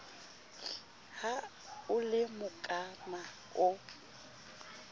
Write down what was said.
ha o le mokana o